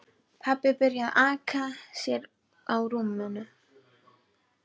Pabbi byrjaði að aka sér á rúminu.